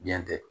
Diɲɛ tɛ